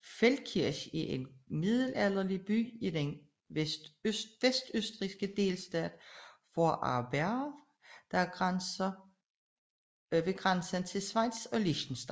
Feldkirch er en middelalderlig by i den vestøstrigske delstat Vorarlberg ved grænsen til Schweiz og Liechtenstein